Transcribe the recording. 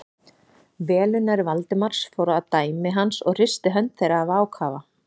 Velunnari Valdimars fór að dæmi hans og hristi hönd þeirra af ákafa.